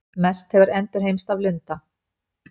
Mest hefur endurheimst af lunda.